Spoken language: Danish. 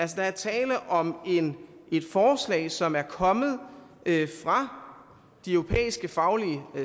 der er tale om et forslag som er kommet fra de europæiske faglige